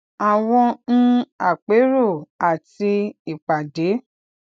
àwọn um àpérò àti ìpàdé